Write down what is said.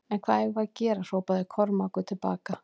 En hvað eigum við að gera hrópaði Kormákur til baka.